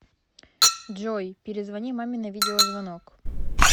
джой перезвони маме на видеозвонок